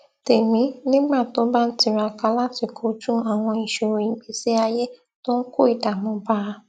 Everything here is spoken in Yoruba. tèmí nígbà tó bá ń tiraka láti kojú àwọn ìṣòro ìgbésí ayé tó ń kó ìdààmú bá a